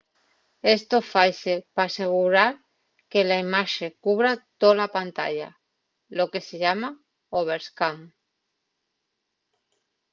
esto faise p'asegurar que la imaxe cubra tola pantalla lo que se llama overscan